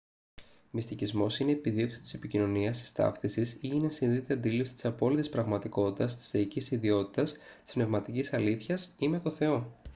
μυστικισμός είναι η επιδίωξη της επικοινωνίας της ταύτισης ή η ενσυνείδητη αντίληψη της απόλυτης πραγματικότητας της θεϊκής ιδιότητας της πνευματικής αλήθειας ή με τον θεό